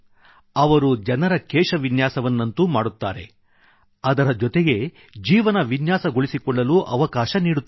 ಅವರು ಜನರ ಕೇಶವಿನ್ಯಾಸವನ್ನಂತೂ ಮಾಡುತ್ತಾರೆ ಅದರ ಜೊತೆಗೆ ಜೀವನ ವಿನ್ಯಾಸಗೊಳಿಸಿಕೊಳ್ಳಲೂ ಅವಕಾಶ ನೀಡುತ್ತಾರೆ